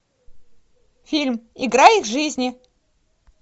фильм игра их жизни